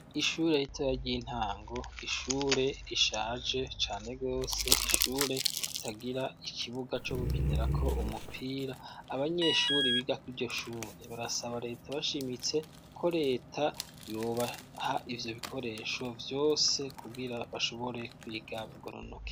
Ishure ritoya ry'intango. Ishure rishaje cane gose, ishure ritagira ikibuga co gukinirako umupira. Abanyeshuri biga kuri iryo shure, barasaba leta bashimitse ko leta yo baha ivyo bikoresho vyose, kugira bashobore kwiga bagoronoke.